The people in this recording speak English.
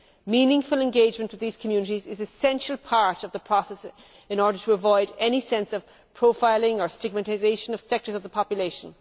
Meaningful engagement with these communities is an essential part of the process, in order to avoid any sense of profiling of stigmatisation of sectors of the population.